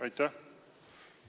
Aitäh!